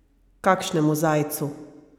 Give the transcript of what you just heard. Kakšnem zajcu?